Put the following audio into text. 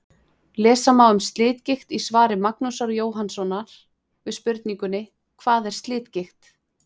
Lesa má um slitgigt í svari Magnúsar Jóhannssonar við spurningunni: Hvað er slitgigt?